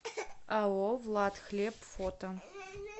ао владхлеб фото